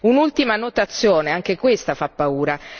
Un'ultima annotazione, anche questa fa paura.